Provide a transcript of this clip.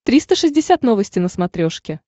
триста шестьдесят новости на смотрешке